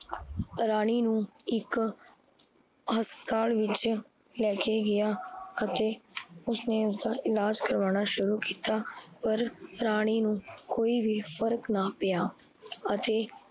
ਰਾਣੀ ਨੂੰ ਇੱਕ ਹਸਪੀਤਾਲ ਵਿੱਚ ਲੈ ਕੇ ਗਿਆ ਅਤੇ ਉਸਨੇ ਓਥੇ ਇਲਾਜ ਕਰਵਾਨਾ ਸ਼ੁਰੂ ਕੀਤਾ ਪਰ ਰਾਣੀ ਨੂੰ ਕੋਈ ਵੀ ਫਰਕ ਨਾ ਪਿਆ ਅਤੇ